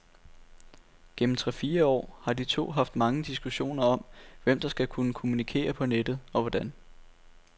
Gennem tre fire år har de to haft mange diskussioner om, hvem der skal kunne kommunikere på nettet og hvordan.